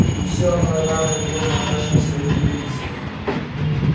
ты всё равно рано или поздно отдашь им своих любимцев